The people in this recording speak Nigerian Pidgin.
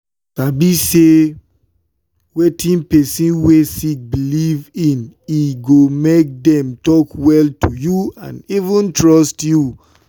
sabi say wetin person wey sick believe in e go make them talk well to you and even trust you.